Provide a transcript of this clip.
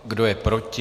Kdo je proti?